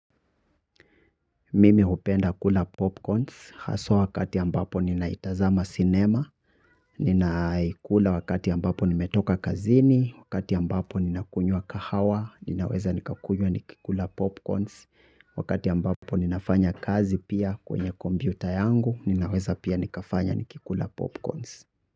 Mimi hupenda kula popcorns, haswa wakati ambapo ninaitazama sinema, ninaikula wakati ambapo nimetoka kazini, wakati ambapo ninakunywa kahawa, ninaweza nikakunyua nikikula popcorns, wakati ambapo ninafanya kazi pia kwenye kompyuta yangu, ninaweza pia nikafanya nikikula popcorns.